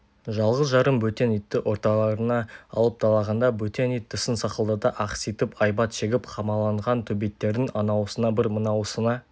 жалғыз-жарым бөтен итті орталарына алып талағанда бөтен ит тісін сақылдата ақситып айбат шегіп қамалаған төбеттердің анауысына бір мынауысына